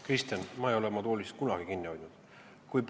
Kristen, ma ei ole oma toolist kinni hoidnud.